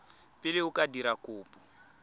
pele o ka dira kopo